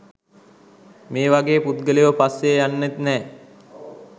මේ වගේ පුද්ගලයො පස්සෙ යන්නෙත් නෑ